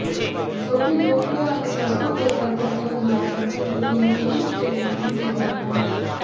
સૌથી લોકપ્રિય અને સસ્તું ઘર પદ્ધતિઓ દ્વારા નખની વૃદ્ધિને કેવી રીતે વેગવું તે ધ્યાનમાં લો